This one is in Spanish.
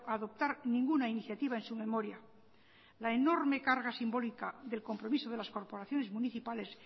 adoptar ninguna iniciativa en su memoria la enorme carga simbólica del compromiso de las corporaciones municipales